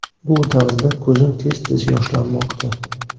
Bu davrda ko‘zim tez tez yoshlanmoqda.